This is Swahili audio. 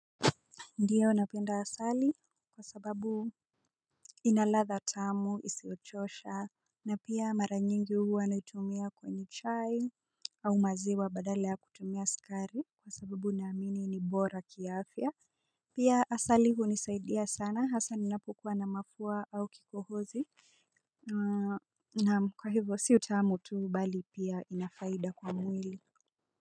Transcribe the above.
Ndio napenda asali kwa sababu ina ladha tamu isiochosha. Na pia mara nyingi huwa naitumia kwenye chai. Au maziwa badala ya kutumia sukari kwa sababu unaamini ni bora ki afya. Pia asali hunisaidia sana hasa ninapokuwa na mafua au kikohozi. Naam kwa hivyo si utaamu tu bali pia ina faida kwa mwili.